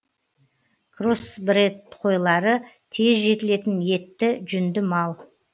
кроссбред қойлары тез жетілетін етті жүнді мал